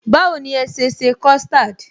Báwo ni ẹ sese custard?